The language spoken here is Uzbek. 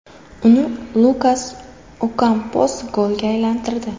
Uni Lukas Okampos golga aylantirdi.